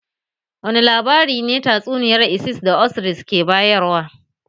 Wane labari ne tatsuniyar isis da osiris ke bayarwa?